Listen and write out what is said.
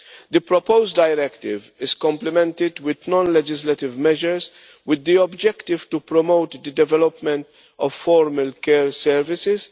The proposed directive is complemented with non legislative measures with the objective to promote the development of formal care services